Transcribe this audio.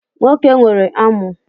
Nwoke nwere amu.